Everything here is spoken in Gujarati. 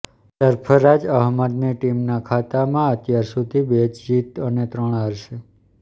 સરફરાજ અહમદની ટીમના ખાતામાં અત્યાર સુધી બે જ જીત અને ત્રણ હાર છે